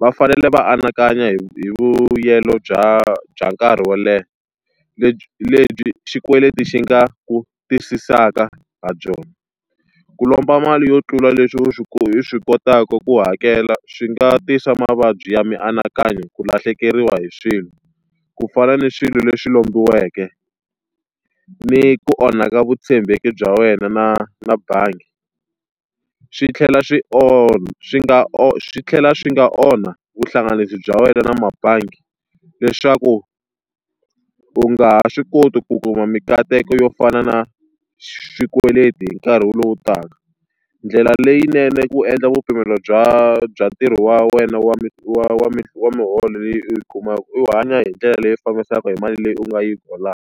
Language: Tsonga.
va fanele va anakanya hi hi vuyelo bya bya nkarhi wo leha lebyi xikweleti xi nga ku tiyisisaka ha byona. Ku lomba mali yo tlula leswi u swi u swi kotaka ku hakela swi nga tisa mavabyi ya mianakanyo, ku lahlekeriwa hi swilo, ku fana ni swilo leswi lombiweke, ni ku onhaka vutshembeki bya wena na na bangi. Swi tlhela swi swi nga swi tlhela swi nga onha vuhlanganisi bya wena na tibangi leswaku u nga ha swi koti ku kuma minkateko yo fana na swikweleti hi nkarhi lowu taka. Ndlela leyinene ku endla vu pimelo bya bya ntirho wa wena wa wa wa wa miholo leyi u yi kumaka, u hanya hi ndlela leyi fambisanaka ni mali leyi u nga yi holaka.